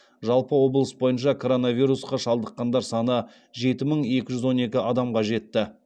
жалпы облыс бойынша коронавирусқа шалдыққандар саны жеті мың екі жүз он екі адамға жетті